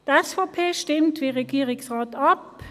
Die SVP stimmt wie der Regierungsrat ab: